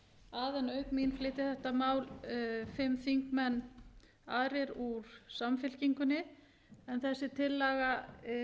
að en auk mín flytja þetta mál fimm þingmenn aðrir úr samfylkingunni þessi tillaga